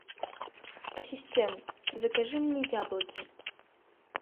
ассистент закажи мне яблоки